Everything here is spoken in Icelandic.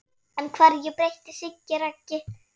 En hverju breytti Siggi Raggi?